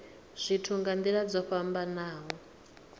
zwithu nga nila dzo fhambanaho